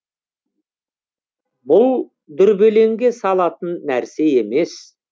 бұл дүрбелеңге салатын нәрсе емес